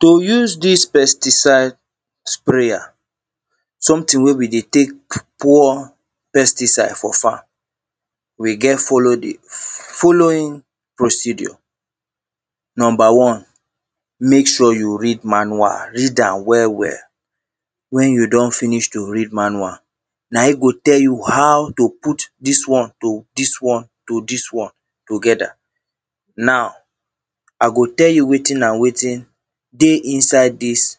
to use this pesticide sprayer something wey we dey take pour pesticide for farm we get follow the f f following procedure number one make sure you read manual read am well well when you do?n finish to read manual na im go tell you how to put this one to this one to this one together now i go tell you wetin and wetin dey inside this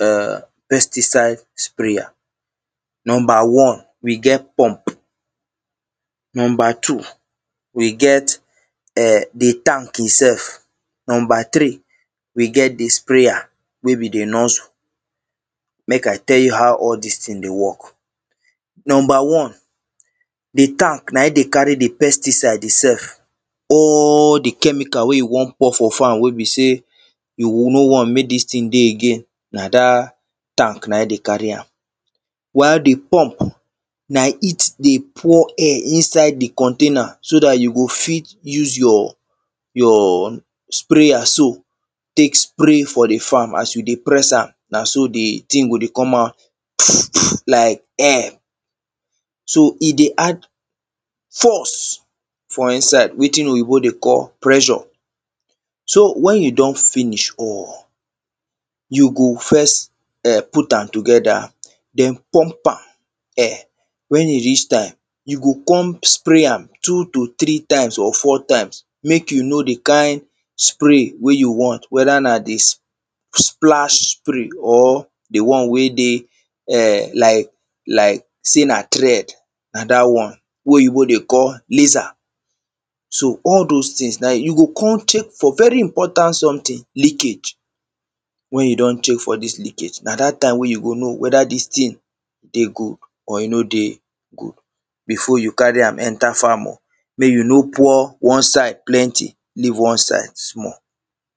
e?rr pesticide sprayer number one we get pump number two we get e?r the tank itself number three we get the sprayer wey be the nuzzle make i tell you how all this thing dey work number one the tank na im dey carry the pesticide itself all the chemical wey you wan pour for farm wey be say you go no want make this thing dey again na that tank na e dey carry am while the pump na it dey pour air inside the container so that you go fit use your your sprayer so take spray for the farm as you dey press am na so the thing go dey come out pff pff like air so e dey add force for inside wetin oyibo dey call pressure so when you done finish all you go first e?rr put am together then pump am e?rr when e reach time you go come spray am two to three times or four times make you know the kind spray wey you want whether na the s splash spray or the one wey dey e?rr like like say na thread na that one wey oyibo dey call laser so all those things na you go ko?n check for very important something leakage when you do?n check for this leakage na that time wey you go know whether this thing dey good or e no dey good before you carry am enter farm o make you no pour one side plenty leave one side small